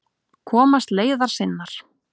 Komast leiðar sinnar.